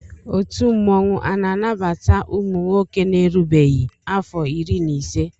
Ọtu mmanwụ ana anabata ụmụnwoke na erubeghi afo iri na ise.